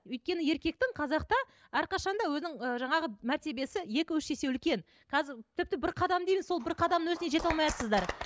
өйткені еркектің қазақта әрқашан да өзінің ы жаңағы мәртебиесі екі үш есе үлкен тіпті бір қадам дейміз сол бір қадамның өзіне жете алмайатсыздар